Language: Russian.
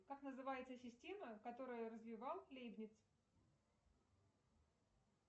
как называется система которую развивал лейбниц